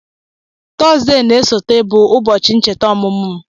Tọzdee na-esote bụ ụbọchị nchèta ọmụmụ m